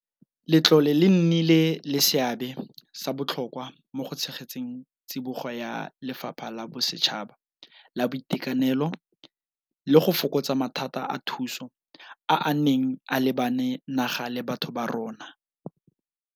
Letlole le nnile le seabe sa botlhokwa mo go tshegetseng tsibogo ya lefapha la bosetšhaba la boitekanelo le go fokotsa mathata a thuso a a neng a lebane naga le batho ba rona.